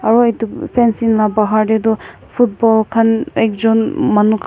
aro etu fencing la bahar de toh football khan ekjun manu kh--